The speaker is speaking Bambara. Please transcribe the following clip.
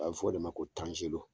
A be fɔ o de ma ko tanzelo